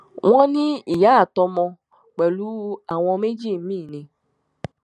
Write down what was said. wọn ní ìyá àtọmọ pẹlú àwọn méjì míín ni